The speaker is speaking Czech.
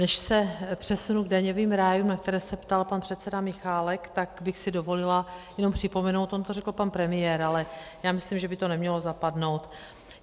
Než se přesunu k daňovým rájům, na které se ptal pan předseda Michálek, tak bych si dovolila jenom připomenout - on to řekl pan premiér, ale já myslím, že by to nemělo zapadnout.